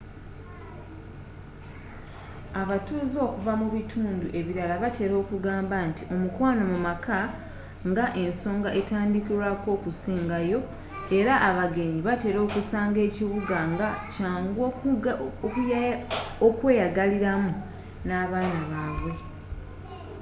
abatuuze okuva mubitundu ebirala batera okugamba nti omukwano mumaka nga ensonga etandikirwako okusenga yoo era abagenyi batera okusanga ekibuga nga kyangu okweyagaliramu nabaana babwe